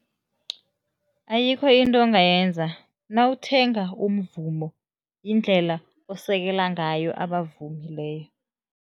Ayikho into ongayenza. Nawuthenga umvumo, yindlela osekela ngayo abavumi leyo.